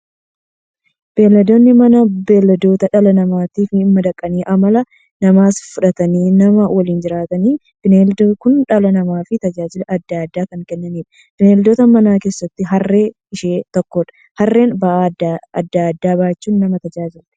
Beeyladoonni Manaa beeyladoota dhala namaatti madaqanii amala namaas fudhatanii, nama waliin jiraataniidha. Beeyladoonni kun dhala namaaf tajaajila adda addaa kan kennaniidha. Beeyladoota Manaa keessaa Harreen ishee tokkodha. Harreen ba'aa adda addaa baachuun nama tajaajilti.